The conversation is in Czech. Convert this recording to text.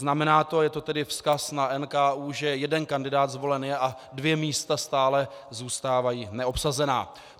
Znamená to, je to tedy vzkaz na NKÚ, že jeden kandidát zvolen je a dvě místa stále zůstávají neobsazená.